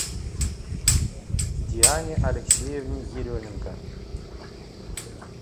диане алексеевне еременко